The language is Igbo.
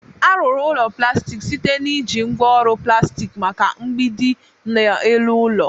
A ruru ulo plastik site na iji ngwa oru plastik maka mgbidi na elu ụlọ.